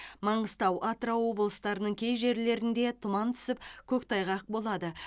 маңғыстау атырау облыстарының кей жерлерінде тұман түсіп көктайғақ болады